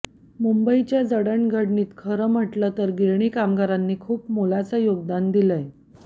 मुंबईच्या जडणघडणीत खरं म्हटलं तर गिरणी कामगारांनी खूप मोलाचं योगदान दिलंय